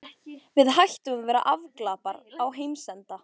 Við hættum að vera afglapar á heimsenda.